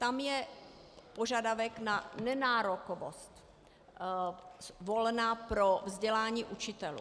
Tam je požadavek na nenárokovost volna pro vzdělání učitelů.